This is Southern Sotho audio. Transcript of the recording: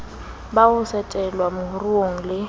ba ho tsetelwa moruong le